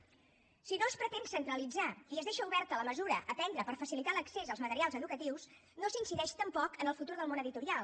si no es pretén centralitzar i es deixa oberta la mesura a prendre per facilitar l’accés als materials educatius no s’incideix tampoc en el futur del món editorial